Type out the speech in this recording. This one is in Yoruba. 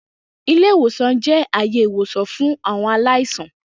Ile-iwosan jẹ aaye iwosan fun awọn alaisan.